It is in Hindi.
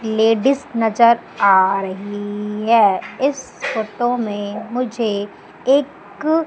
लेडिस नजर आ रही है इस फोटो में मुझे एक--